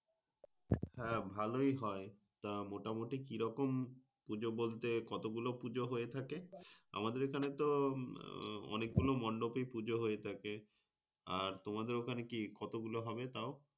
হ্যাঁ ভালোই হয়। তা মোটামুটি কিরকম পুজো বলতে কতগুলো পুজো হয়ে থাকে? আমাদের এখানে তো আহ অনেকগুলো মন্ডোপে পুজো হয়ে থাকে। আর তোমাদের ওখান কি কতগুলো হবে তা?